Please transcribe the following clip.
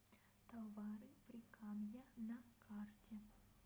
товары прикамья на карте